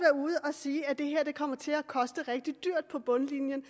sige at det her kommer til at koste rigtig dyrt på bundlinjen